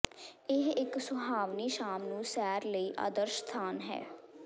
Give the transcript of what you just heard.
ਇਹ ਇੱਕ ਸੁਹਾਵਣੀ ਸ਼ਾਮ ਨੂੰ ਸੈਰ ਲਈ ਆਦਰਸ਼ ਸਥਾਨ ਹੈ